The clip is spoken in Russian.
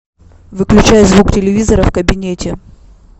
выключай звук телевизора в кабинете